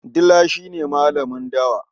Dila shi ne malamin dawa.